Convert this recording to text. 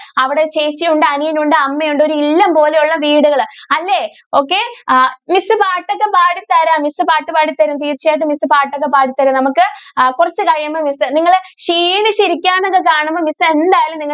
അവിടെ ചേച്ചിയുണ്ട് അനിയനുണ്ട് അമ്മ ഉണ്ട് ഒരു ഇല്ലം പോലെയുള്ള വീടുകൾ. അല്ലെ okay miss പാട്ട് ഒക്കെ പാടി തരാം miss പാട്ട് പാടി തരും തീർച്ചയായിട്ടും miss പാട്ട് ഒക്കെ പാടി തരും നമുക്ക് കുറച്ചു കഴിയുമ്പോ miss നിങ്ങൾ ക്ഷീണിച്ചു ഇരികുവാണെന്ന് ഒക്കെ കാണുമ്പോൾ miss എന്തായാലും